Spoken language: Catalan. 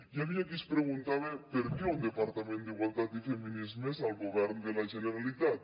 hi havia qui es preguntava per què un departament d’igualtat i feminismes al govern de la generalitat